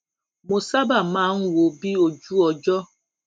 mo sábà máa ń wo bí ojú ọjó